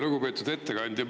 Lugupeetud ettekandja!